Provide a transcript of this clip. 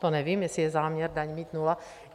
To nevím, jestli je záměr mít daň nula.